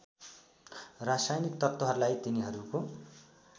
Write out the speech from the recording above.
रासायनिक तत्त्वहरूलाई तिनीहरूको